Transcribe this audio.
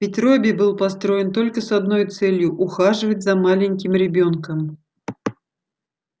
ведь робби был построен только с одной целью ухаживать за маленьким ребёнком